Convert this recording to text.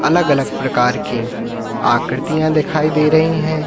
अलग अलग प्रकार की आकृतियां दिखाई दे रही है।